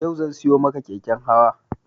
Yau zan siyo maka keken hawa